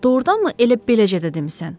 Doğrudanmı elə beləcə də demisən?